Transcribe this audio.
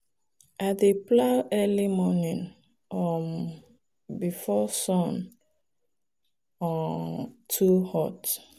i dey plow early morning um before sun um too hot.